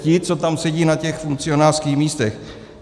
Ti, co tam sedí na těch funkcionářských místech.